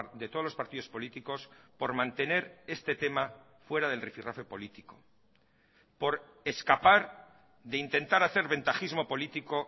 de todos los partidos políticos por mantener este tema fuera del rifirrafe político por escapar de intentar hacer ventajismo político